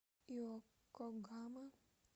иокогама